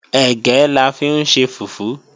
Ẹ̀gẹ́ la fi ń ṣe fùfú